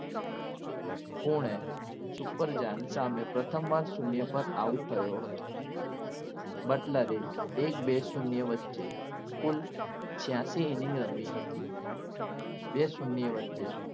Pune Super Giant સામે પ્રથમ વાર શૂન્ય out થયો હતો એટલે એક બે શૂન્ય વચ્ચે છ્યાસી innings રમી હતી બે શૂન્ય વચ્ચે